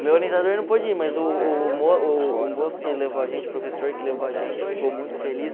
O meu orientador não pôde ir, mas o moço que levou a gente, o professor que levou a gente, ficou muito feliz.